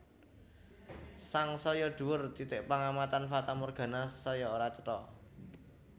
Sangsaya dhuwur titik pangamatan fatamorgana saya ora cetha